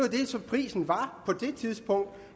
det som prisen var på det tidspunkt